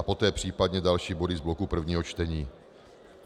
A poté případně další body z bloku prvního čtení.